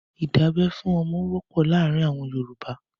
ìdábẹ́ fún ọmọ wọ́pọ̀ láàárin àwọn Yorùbá.